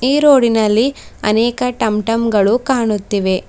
ಈ ರೋಡಿನಲ್ಲಿ ಅನೇಕ ಟಮ್ ಟಮ್ ಗಳು ಕಾಣುತ್ತಿವೆ.